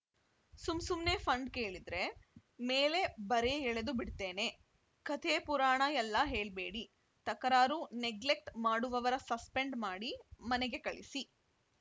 ಸುಮ್‌ ಸುಮ್ನೆ ಫಂಡ್‌ ಕೇಳಿದ್ರೆ ಮೇಲೆ ಬರೆ ಎಳೆದು ಬಿಡ್ತೇನೆ ಕಥೆ ಪುರಾಣ ಎಲ್ಲ ಹೇಳ್ಬೇಡಿ ತಕರಾರು ನೆಗ್ಲೆಕ್ಟ್ ಮಾಡುವವರ ಸಸ್ಪೆಂಡ್‌ ಮಾಡಿ ಮನೆಗೆ ಕಳಿಸಿ